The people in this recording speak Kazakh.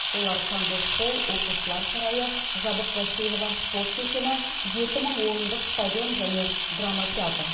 олар конгресс холл оқушылар сарайы жабық бассейні бар спорт кешені жеті мың орындық стадион және драма театры